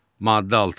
Maddə 6.